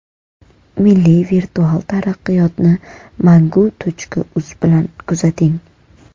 Milliy virtual taraqqiyotni Mangu.uz bilan kuzating!